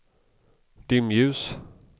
dimljus